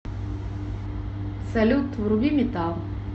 салют вруби метал